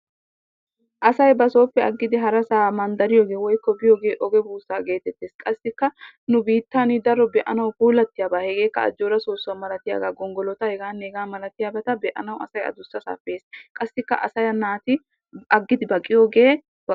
Asay basoppe agidi haraasa biyoger woyko mandariyogee ogee busaa gettetees, qasikka, nu bittanni daro be'anawu pulatiya sohuwaa hegekaa ajjooraa sosuwaa, gongolottaa heganne hega malatiyabattaa be'anawu adusasappe yees, kassekaa naati agidi baqiyoge.